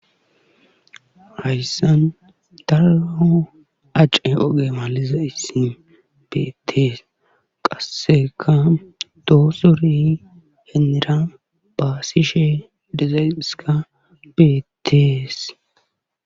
Hayssan daro acce oge malizayssi beetees qassekka dozore hinira baasishe dizaysikka beetees.